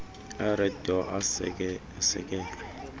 ered door asekelwe